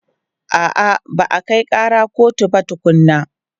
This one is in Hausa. A'a, ba a kai ƙara kotu ba tukunnan.